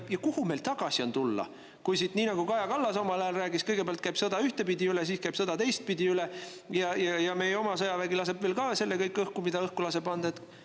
Ja kuhu meil on tagasi tulla, kui siit, nii nagu Kaja Kallas omal ajal rääkis, käib kõigepealt sõda ühtpidi üle, siis käib sõda teistpidi üle ja meie oma sõjavägi laseb veel ka õhku kõik selle, mida õhku annab lasta?